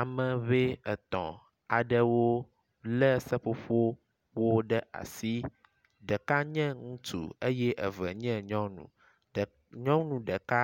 Ame ŋee etɔ̃ aɖewo le seƒoƒowo ɖe asi. Ɖeka nye ŋutsu eye eve nye nyɔnu. Ɖe nyɔnu ɖeka